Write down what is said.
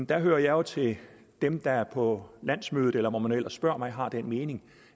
der hører jeg jo til dem der på landsmødet eller hvor man nu ellers spørger mig har den mening